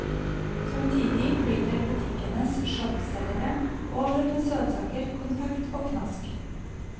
Samtidig flyter butikkenes sjokkselgere over med søtsaker, konfekt og knask.